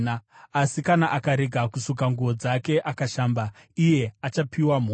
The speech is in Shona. Asi kana akarega kusuka nguo dzake akashamba iye, achapiwa mhosva.’ ”